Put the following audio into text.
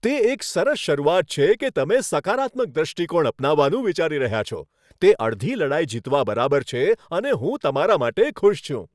તે એક સરસ શરૂઆત છે કે તમે સકારાત્મક દૃષ્ટિકોણ અપનાવવાનું વિચારી રહ્યાં છો. તે અડધી લડાઈ જીતવા બરાબર છે અને હું તમારા માટે ખુશ છું.